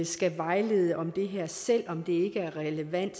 skal vejlede om det her selv om det ikke er relevant